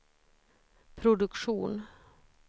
produktion